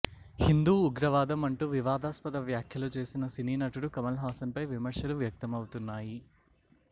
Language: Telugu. హిందూ ఉగ్రవాదం అంటూ వివాదాస్పద వ్యాఖ్యలు చేసిన సినీ నటుడు కమలహాసన్ పై విమర్శలు వ్యక్తమవుతున్నాయి